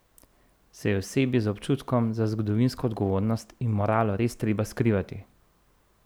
Se je osebi z občutkom za zgodovinsko odgovornost in moralo res treba skrivati?